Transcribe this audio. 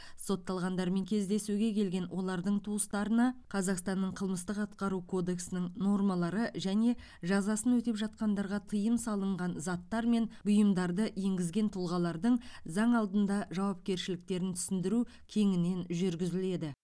сотталғандармен кездесуге келген олардың туыстарына қазақстанның қылмыстық атқару кодексінің нормалары және жазасын өтеп жатқандарға тыйым салынған заттар мен бұйымдарды енгізген тұлғалардың заң алдында жауапкершіліктерін түсіндіру кеңінен жүргізіледі